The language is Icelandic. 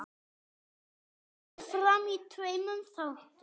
Kemur fram í tveimur þáttum.